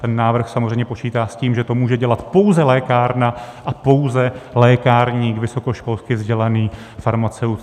Ten návrh samozřejmě počítá s tím, že to může dělat pouze lékárna a pouze lékárník, vysokoškolsky vzdělaný farmaceut.